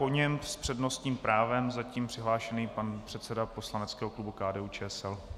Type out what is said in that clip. Po něm s přednostním právem zatím přihlášený pan předseda poslaneckého klubu KDU-ČSL.